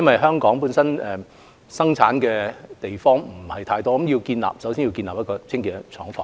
香港能夠生產的地方不多，所以首先要建立清潔的廠房。